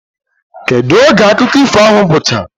kedu oge akụkọ ifo ahụ gwụchara?